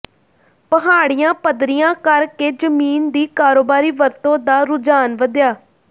ਪਹਾੜੀਆਂ ਪੱਧਰੀਆਂ ਕਰ ਕੇ ਜ਼ਮੀਨ ਦੀ ਕਾਰੋਬਾਰੀ ਵਰਤੋਂ ਦਾ ਰੁਝਾਨ ਵਧਿਆ